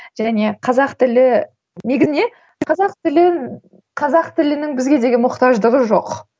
және қазақ тілі негізінде қазақ тілін қазақ тілінің бізге деген мұқтаждығы жоқ